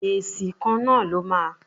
Èsì kan náà ló máa.